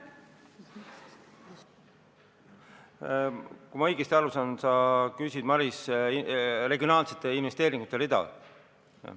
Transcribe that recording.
Kui ma õigesti aru saan, siis sa küsid, Maris, regionaalsete investeeringute rea kohta.